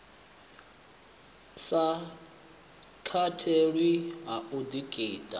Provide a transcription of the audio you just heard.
sa katelwi ha u ḓitika